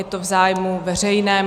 Je to v zájmu veřejném.